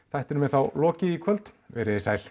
þættinum er þá lokið í kvöld veriði sæl